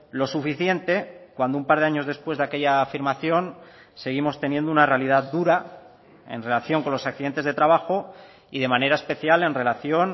lo suficiente cuando un par de años después de aquella afirmación seguimos teniendo una realidad dura en relación con los accidentes de trabajo y de manera especial en relación